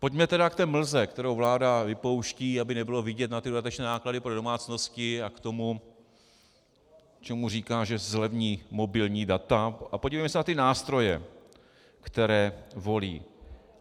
Pojďme tedy k té mlze, kterou vláda vypouští, aby nebylo vidět na ty dodatečné náklady pro domácnosti, a k tomu, čemu říká, že zlevní mobilní data, a podívejme se na ty nástroje, které volí.